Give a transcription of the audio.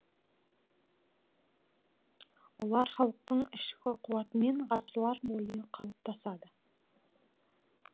олар халықтың ішкі қуатымен ғасырлар бойы қалыптасады